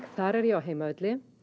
þar er ég á heimavelli